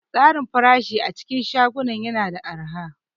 Tsarin farashi a cikin shagunan yana da araha.